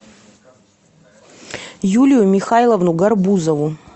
юлию михайловну гарбузову